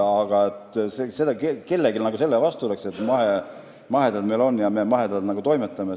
Aga kellelgi ei ole midagi selle vastu, et meil mahemaad on ja et me mahedalt toimetame.